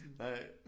Nej